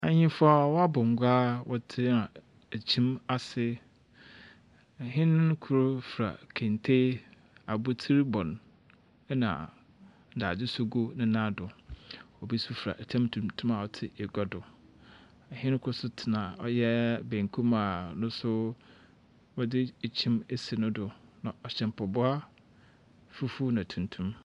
Ahenfo a wabɔ ngua tena kyim ase ɔhen no kor fura kente abotsir bɔ no ɛna ndadze so gu ne nan do obi so fura ɛtam tuntum a ɔte egua do ɔhen kor so te ɔyɛ benkum a noso wɔde ekyim asi no do na ɔhyɛ mpaboa ɔyɛ fufuw na tuntum .